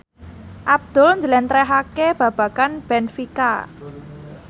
Abdul njlentrehake babagan benfica